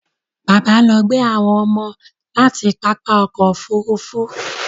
Bàbá lọ gbé àwọn ọmọ láti pápá ọkọ̀ Òfurufú